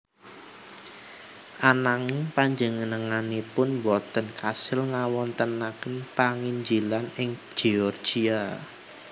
Ananging panjenenganipun boten kasil ngawontenaken panginjilan ing Georgia